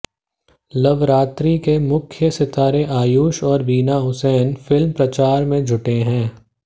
लवरात्रि के मुख्य सितारे आयुष और वरीना हुसैन फिल्म प्रचार में जुटे हैं